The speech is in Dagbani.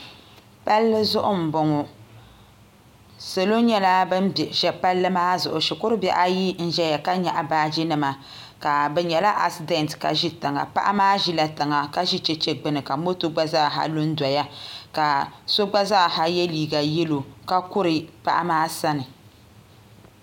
Palli zuɣu n boŋo salo nyɛla bin bɛ palli maa zuɣu shikuru bihi ayi n ʒɛya ka nyaɣa baaji nima bi nyɛla asidɛnt ka ʒi tiŋa paɣa maa ʒila tiŋa ka ʒi chɛchɛ gbuni ka moto gba zaaha lu n doya ka so gba zaaha yɛ liiga yɛlo ka kuri paɣa maa sani